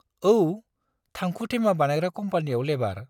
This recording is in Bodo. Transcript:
औ, थांखु थेमा बानायग्रा कम्पानीयाव लेबार।